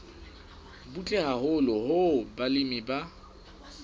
butle haholo hoo balemi ba